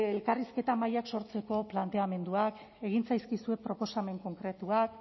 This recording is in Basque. elkarrizketa mahaiak sortzeko planteamenduak egin zaizkizue proposamen konkretuak